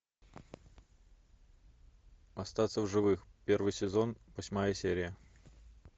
остаться в живых первый сезон восьмая серия